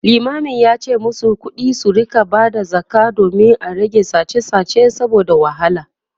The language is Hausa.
limamin yace masu kuɗi su rinka Bada zakka domin a rage sache sache saboda wahala